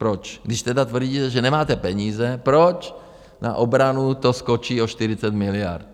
Proč, když tedy tvrdí, že nemáte peníze, proč na obranu to skočí o 40 miliard?